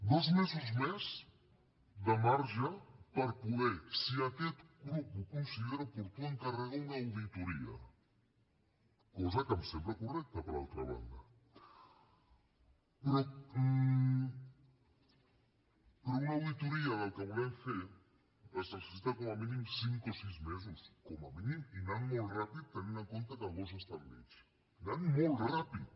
dos mesos més de marge per poder si aquest grup ho considera oportú encarregar una auditoria cosa que em sembla correcta per altra banda però per a una auditoria del que volem fer es necessiten com a mínim cinc o sis mesos com a mínim i anant molt ràpid tenint en compte que agost està enmig anant molt ràpid